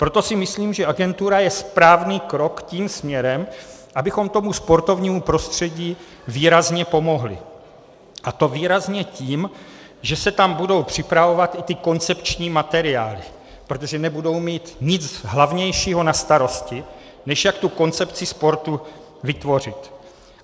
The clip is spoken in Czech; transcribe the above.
Proto si myslím, že agentura je správný krok tím směrem, abychom tomu sportovnímu prostředí výrazně pomohli, a to výrazně tím, že se tam budou připravovat i ty koncepční materiály, protože nebudou mít nic hlavnějšího na starosti, než jak tu koncepci sportu vytvořit.